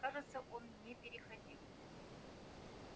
кажется он не переходил